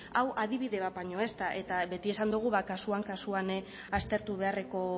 hau adibide bat baino ez da eta beti esan dugu kasuan kasuan aztertu beharreko